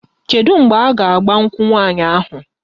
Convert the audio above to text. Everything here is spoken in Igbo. Kedu mgbe a ga-agba nkwụ nwaanyị ahụ?